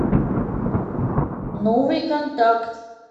новый контакт